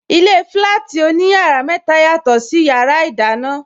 Ilé flati oní yàrá mẹta, yàtò sí yàrá ìdáná.